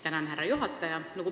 Tänan, härra juhataja!